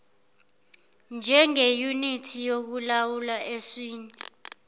njengeyunithi yokulawula eswini